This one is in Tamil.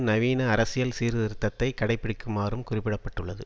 நவீன அரசியல் சீர்திருத்தத்தை கடை பிடிக்குமாறும் குறிப்பிட பட்டுள்ளது